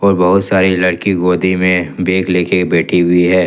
बहुत सारी लड़की गोदी में बैग लेकर बैठी हुई है।